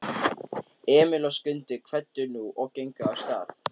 Emil og Skundi kvöddu nú og gengu af stað.